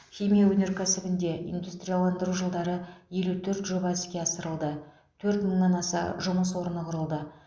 химия өнеркәсібінде индустрияландыру жылдары елу төрт жоба іске асырылды төрт мыңнан аса жұмыс орны құрылды